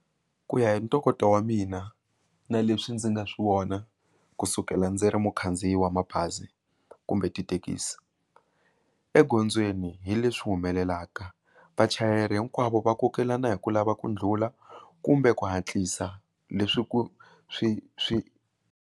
Ku ya hi ntokoto wa mina na leswi ndzi nga swi vona kusukela ndzi ri mukhandziyi wa mabazi kumbe tithekisi egondzweni hi leswi humelelaka vachayeri hinkwavo va kokelana hi ku lava ku ndlhula kumbe ku hatlisa leswi ku swi .